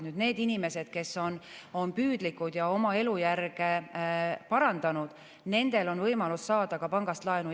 Nendel inimestel, kes on püüdlikud ja on oma elujärge parandanud, on võimalus saada pangast laenu.